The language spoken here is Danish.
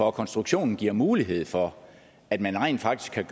og konstruktionen giver mulighed for at man rent faktisk kan